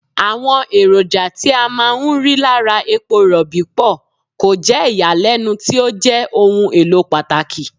Àwọn èròjà tí a máa ń rí lára epo Rọ̀bì pọ̀, kò jẹ́ ìyàlẹ́nu tí ó jẹ́ ohun èlò pàtàkì.